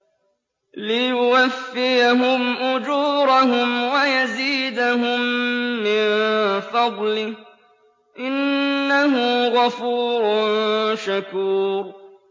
لِيُوَفِّيَهُمْ أُجُورَهُمْ وَيَزِيدَهُم مِّن فَضْلِهِ ۚ إِنَّهُ غَفُورٌ شَكُورٌ